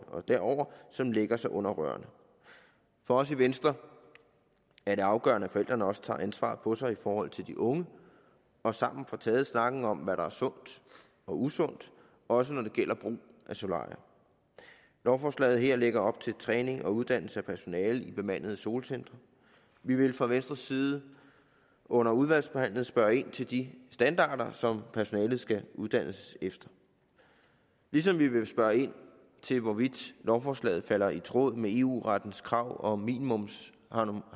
og derover som lægger sig under rørene for os i venstre er det afgørende at forældrene også tager ansvar på sig i forhold til de unge og sammen får taget snakken om hvad der er sundt og usundt også når det gælder brug af solarier lovforslaget her lægger op til træning og uddannelse af personalet i bemandede solcentre vi vil fra venstres side under udvalgsbehandlingen spørge ind til de standarder som personalet skal uddannes efter ligesom vi vil spørge ind til hvorvidt lovforslaget falder i tråd med eu rettens krav om om